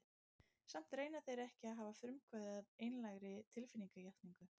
Samt reyna þeir ekki að hafa frumkvæðið að einlægri tilfinningatjáningu.